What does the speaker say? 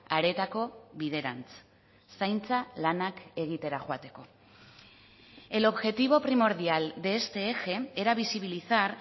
areetako biderantz zaintza lanak egitera joateko el objetivo primordial de este eje era visibilizar